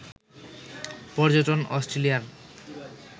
পর্যটন অস্ট্রেলিয়ার